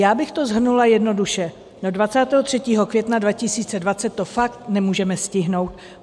Já bych to shrnula jednoduše: Do 23. května 2020 to fakt nemůžeme stihnout.